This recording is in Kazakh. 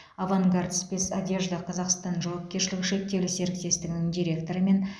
авангард спецодежда казахстан жауапкершілігі шектеулі серіктестігінің директорымен